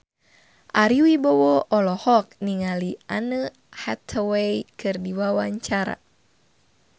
Ari Wibowo olohok ningali Anne Hathaway keur diwawancara